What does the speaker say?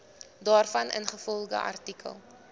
daarvan ingevolge artikel